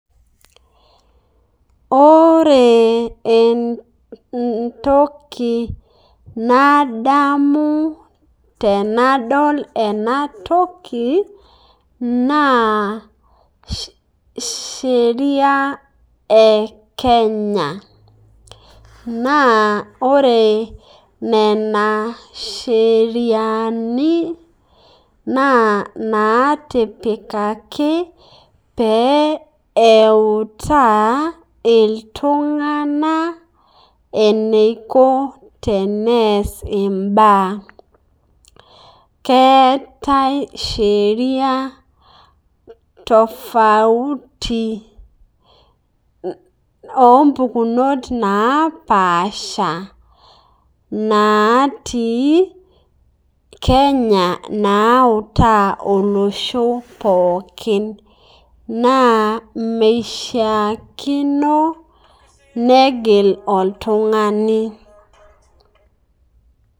Ore entokii nadamu tenadol ena ntokii naa sheria e Kenya, naa ore nena sheriani naa natipikaki pee eutaaa eltung'ana eneikoo tene ees ebaya. Keeta sheria [c]tofauti o mpukunot naapasha natii Kenya nautaa olosho pookin. Naa meshaakino negiil oltung'ani.